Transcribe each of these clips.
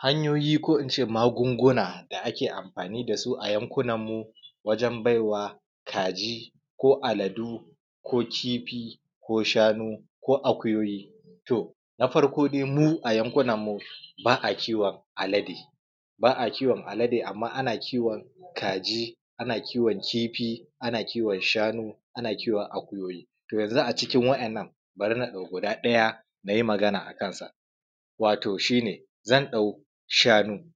Hanyoyo ko in ce magunguna da ake amfani dasu a yanku nan mu wajen baiwa kaji, ko aladu, ko kifi, ko shanu, ko akuyoyi. To na farko dai mu a yanku nan mu ba a kiwon alade, ba a kiwon alade amma ana kiwon kaji, ana kiwon kofi, ana kiwon shanu, ana kiwon akuyoyi, to yanzu a cikin wa’innan bari na dauki guda ɗaya nayi magana akan sa, wato shi ne zan ɗau shanu.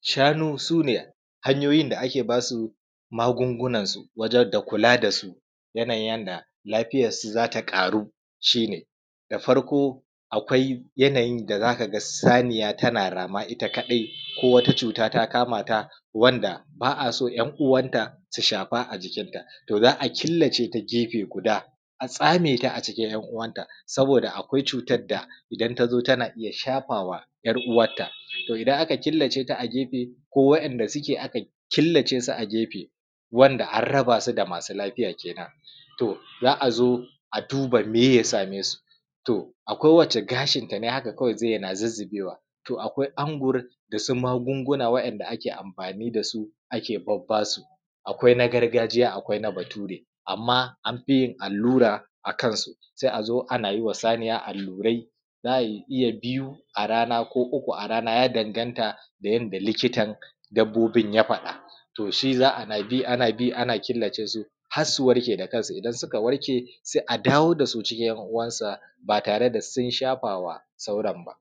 Shanu su ne hanyoyin da ake basu magungunan su wajen da kula da su, yana yin yanda lafiyansu za ta karu, shi ne. Da farko akwai yana yin da zaka ga saniya tana rama ita kadai, ko wata cuta ta kamata wanda ba a so ‘yan uwanta su shafa a jikinta, to za killaceta gefe guda, a tsameta a cikin ‘yan uwanta saboda akwai cuta da idan ta zo tana iya shafawa ‘yar uwanta, to idan aka killaceta a gefe ko wa’inda suke aka killace su a gefe wanda an raba su da masu lafiya kenen to za zo a duba meye ya same su? To akwai wacce gashinta ne haka kawai ze na zuzubewa, to akwai angur da su magunguna wa’inda ake amfani da su ake babba su, akwai na gargajiya akwai na Bature amma anfi yin allura akansu. Sai a zo ana yiwa saniya allurai, za a iya biyu a rana ko uku a rana ya ɗanganta da yanda likitan dabbobin ya fada, to shi za a na bi ana bi ana killace su har su warke da kan su, idan suka warke sai a dawo da su cikin ‘yan uwansa batare da sun shafawa sauran ba.